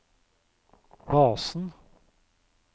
basen